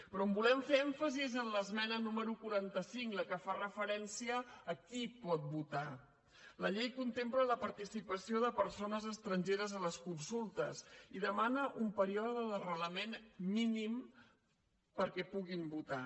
però on volem fer èmfasi és en l’esmena número quaranta cinc la que fa referència a quila participació de persones estrangeres a les consultes i demana un període d’arrelament mínim perquè puguin votar